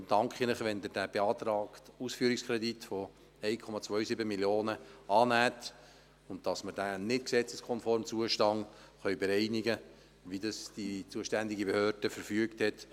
Deshalb danke ich Ihnen, wenn Sie den beantragten Ausführungskredit von 1,27 Mio. Franken annehmen, damit wir den nicht gesetzeskonformen Zustand bis zum kommenden Jahr bereinigen können, wie es die zuständige Behörde verfügt hat.